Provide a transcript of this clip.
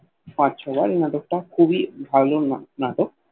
পাঁচ ছ বার এই নাটক তা খুবই ভালো না নাটক